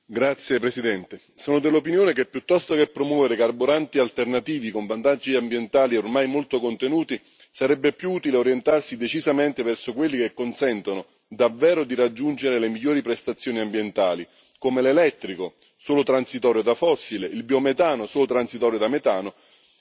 Signora Presidente, onorevoli colleghi, sono dell'opinione che piuttosto che promuovere carburanti alternativi, con vantaggi ambientali ormai molto contenuti, sarebbe più utile orientarsi decisamente verso quelli che consentono davvero di raggiungere le migliori prestazioni ambientali, come l'elettrico, solo transitorio da fossile, il biometano, solo transitorio da metano,